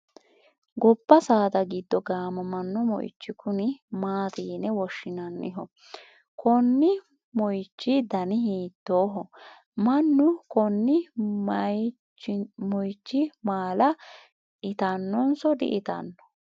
gobba saada giddo gaamamanno moyiichi kuni maati yine woshshinanniho? konni moyiichu dani hiittooho? mannu konni mayichiha maala itannonso di itanno?